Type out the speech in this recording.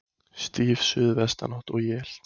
Stíf suðvestanátt og él